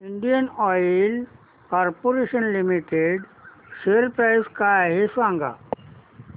Indian oil corporation limited share price काय आहे सांगा